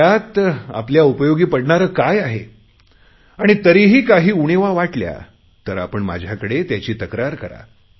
त्यात आपल्या उपयोगी पडणारे काय आहे आणि तरीही काही उणिवा वाटल्या तर आपण माझ्याकडे त्याची तक्रार करा